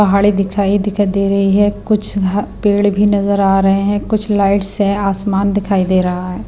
पहाड़ी दिखाई दिखाई दे रही है कुछ अह पेड़ भी नजर आ रहे हैं कुछ लाइट्स है आसमान दिखाई दे रहा है।